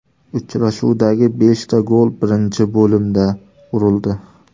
Uchrashuvdagi beshta gol birinchi bo‘limda urildi.